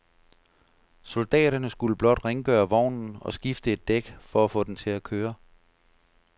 Soldaterne skulle blot rengøre vognen og skifte et dæk for at få den til at køre.